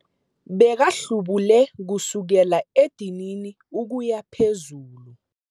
Bekahlubule kusukela edinini ukuya phezulu.